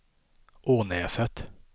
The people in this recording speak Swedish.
Ånäset